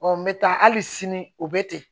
n bɛ taa hali sini o bɛ ten